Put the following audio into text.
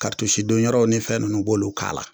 don yɔrɔw ni fɛn ninnu u b'olu k'a la.